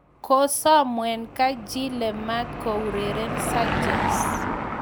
Kosom Wenger Chile maat koureren Sanchez